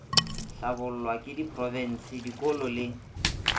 hlabollwa ke diprofense dikolo le